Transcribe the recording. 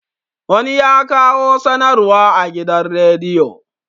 wani ya kawo sanarwa a gidan rediyo